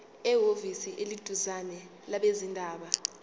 ehhovisi eliseduzane labezindaba